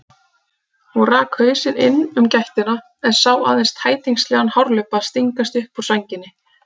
Hún rak hausinn inn um gættina en sá aðeins tætingslegan hárlubba stingast upp úr sænginni.